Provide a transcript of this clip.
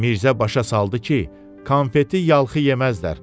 Mirzə başa saldı ki, konfeti yalxı yeməzlər.